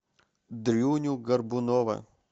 дрюню горбунова